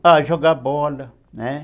Ah, jogar bola, né?